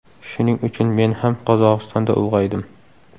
Shuning uchun men ham Qozog‘istonda ulg‘aydim”.